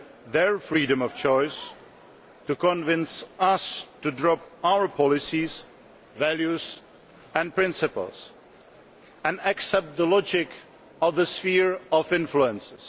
their freedom of choice, and to convince us to drop our policies, values and principles and accept the logic of the sphere of influence.